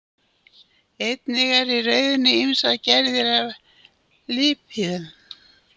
Einnig eru í rauðunni ýmsar gerðir af lípíðum.